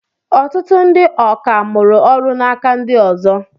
Ọtụtụ ndị ọkà mụrụ ọrụ n'aka ndị ọzọ.